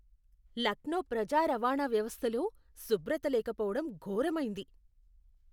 లక్నో ప్రజా రవాణా వ్యవస్థలో శుభ్రత లేకపోవడం ఘోరమైంది.